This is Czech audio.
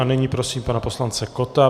A nyní prosím pana poslance Kotta.